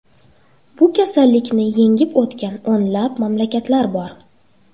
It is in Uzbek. Bu kasallikni yengib o‘tgan o‘nlab mamlakatlar bor.